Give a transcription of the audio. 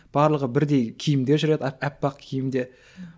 барлығы бірдей киімде жүреді аппақ киімде